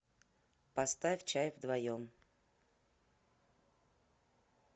поставь чай вдвоем